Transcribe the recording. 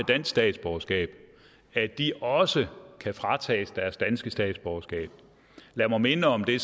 dansk statsborgerskab at de også kan fratages deres danske statsborgerskab lad mig minde om det